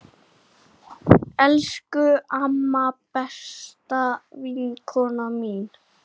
Elsku amma, besta vinkona mín.